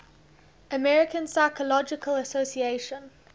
american psychological association